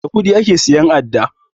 Da kuɗi ake siyan adda